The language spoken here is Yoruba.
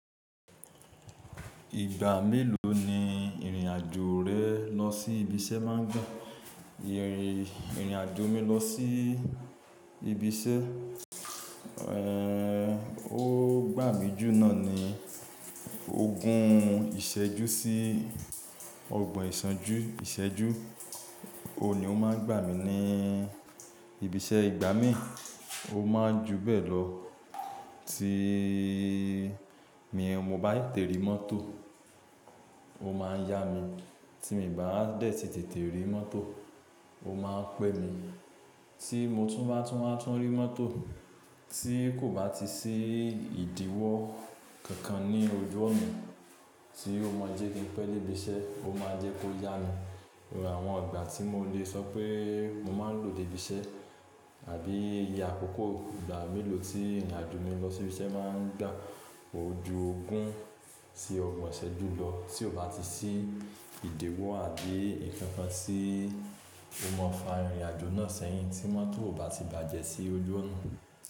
Ìgbà mélòó ni ìrìn-àjò rẹ lọ sí ibiṣẹ́ máa ń gbà? Ìrìn-àjò mi lọ sí ibiṣẹ́, ó gbà mí jù náà ni ogún ìṣẹ́jú sí ọgbọ̀n ìṣánjú ìṣẹ́jú. Ó ní ó máa ń gbà mí ní ibiṣẹ́ ìgbà mí. Ó máa ń ju bẹ́ẹ̀ lọ tí mi mo bá tètè rí mọ́tò ó máa ń yá mi. Tí mi bá tètè rí mọ́tò ó máa ń pẹ́ mi. Tí mo tún bá tún máa tún rí mọ́tò tí kò bá ti sí ìdíwọ́ kankan ní ojú ọ̀nà tí ó mọ jẹ́ kin pẹ́ dé ibiṣẹ́, ó máa jẹ́ kó yá mi. Àwọn ìgbà tí mo lè sọ pé mo máa ń lò dé ibiṣẹ́ àbí ìya àkọ́kọ́ ìgbà mélòó tí ìrìn-àjò mi lọ sí ibiṣẹ́ máa ń gbà. Ó ju ogún sí ọgbọ̀n ìṣẹ́jú lọ tí kò bá ti sí ìdíwọ́ àbí ìfẹ́fẹ́ sí ó mọ fa ìrìn-àjò náà sẹ́yìn tí mọ́tò ò bá ti bàjẹ́ sí ojú ọ̀nà.